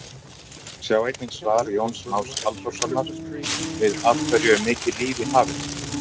Sjá einnig svar Jóns Más Halldórssonar við Af hverju er mikið líf í hafinu?